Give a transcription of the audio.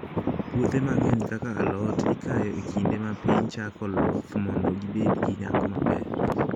Puothe mang'eny kaka alot, ikayo e kinde ma piny chako loth mondo gibed gi nyak maber.